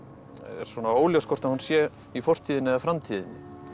er óljóst hvort að hún sé í fortíðinni eða framtíðinni